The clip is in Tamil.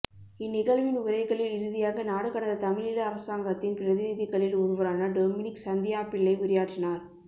இந்நிகழ்வின் உரைகளில் இறுதியாக நாடுகடந்த தமிழீழ அரசாங்கத்தின் பிரதிநிதிகளில் ஒருவரான டொமினிக் சந்தியாப்பிள்ளை உரையாற்றினார்